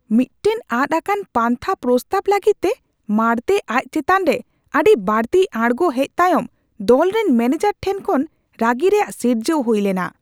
ᱢᱤᱫᱴᱟᱝ ᱟᱫ ᱟᱠᱟᱫ ᱯᱟᱱᱛᱷᱟ ᱯᱨᱚᱥᱛᱟᱵ ᱞᱟᱹᱜᱤᱫᱛᱮ ᱢᱟᱲᱛᱮ ᱟᱡ ᱪᱮᱛᱟᱱ ᱨᱮ ᱟᱹᱰᱤ ᱵᱟᱹᱲᱛᱤ ᱟᱲᱜᱚ ᱦᱮᱡ ᱛᱟᱭᱚᱢ ᱫᱚᱞ ᱨᱮᱱ ᱢᱮᱹᱱᱮᱡᱟᱨ ᱴᱷᱮᱱ ᱠᱷᱚᱱ ᱨᱟᱹᱜᱤ ᱨᱮᱭᱟᱜ ᱥᱤᱨᱡᱟᱹᱣ ᱦᱩᱭ ᱞᱮᱱᱟ ᱾